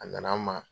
A nana an ma